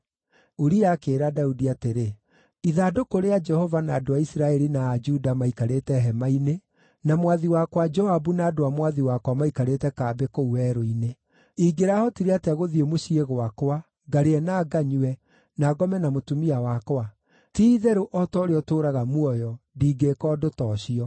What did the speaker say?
Uria akĩĩra Daudi atĩrĩ, “Ithandũkũ rĩa Jehova, na andũ a Isiraeli na a Juda maikarĩte hema-inĩ, na mwathi wakwa Joabu na andũ a mwathi wakwa maikarĩte kambĩ kũu werũ-inĩ. Ingĩrahotire atĩa gũthiĩ mũciĩ gwakwa, ngarĩe na nganyue, na ngome na mũtumia wakwa? Ti-itherũ o ta ũrĩa ũtũũraga muoyo, ndingĩĩka ũndũ ta ũcio!”